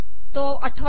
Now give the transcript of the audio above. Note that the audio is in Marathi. तो आठवा